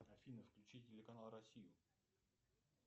афина включи телеканал россию